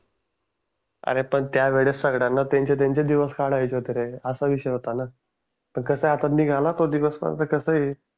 अरे पण त्यावेळेस सगळ्यांना त्यांचे त्यांचे दिवस काढायचे होते रे अशा विषय होता ना तो पण कसं आहे आता निघाला दिवस पण आता कसं आहे.